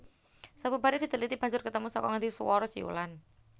Sabubare diteliti banjur ketemu saka ngendi suwara siulan